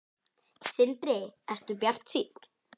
Sindri: Ertu bjartsýnn?